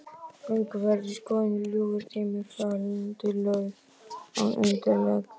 Gönguferðir í skóginum, ljúfur tími, fallandi lauf án undirleiks.